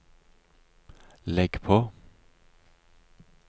legg på